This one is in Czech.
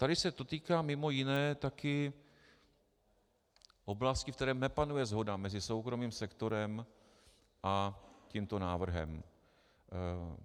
Tady se to týká mimo jiné také oblasti, ve které nepanuje shoda mezi soukromým sektorem a tímto návrhem.